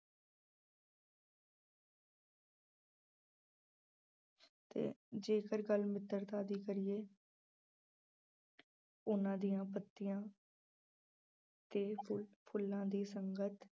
ਤੇ ਜੇਕਰ ਗੱਲ ਮਿੱਤਰਤਾ ਦੀ ਕਰੀਏ ਉਹਨਾਂ ਦੀਆਂ ਪੱਤੀਆਂ ਤੇ ਫੁ~ ਫੁੱਲਾਂ ਦੀ ਸੰਗਤ